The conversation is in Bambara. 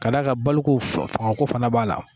Ka da kan bolo ko fanga ko fana b'a la.